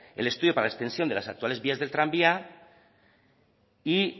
el estudio para la extensión de las actuales vías del tranvía y